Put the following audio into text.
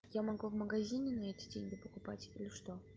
я могу в магазине на эти деньги покупать или что